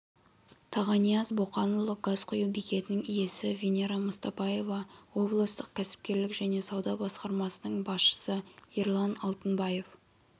тағанияз боқанұлы газ құю бекетінің иесі венера мұстапаева облыстық кәсіпкерлік және сауда басқармасының басшысы ерлан алтынбаев